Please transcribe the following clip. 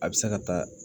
A bɛ se ka taa